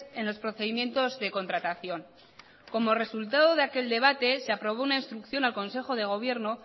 en los procedimientos de contratación como resultado de aquel debate se aprobó una instrucción al consejo de gobierno